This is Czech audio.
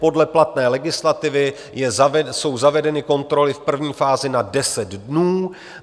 Podle platné legislativy jsou zavedeny kontroly v první fázi na 10 dnů.